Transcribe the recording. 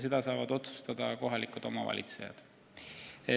Seda saaksid otsustada kohalikud omavalitsejad.